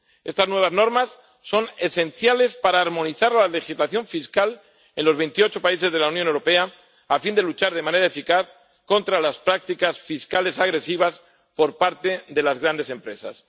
Estas nuevas normas son esenciales para armonizar la legislación fiscal en los veintiocho países de la Unión Europea, a fin de luchar de manera eficaz contra las prácticas fiscales agresivas por parte de las grandes empresas.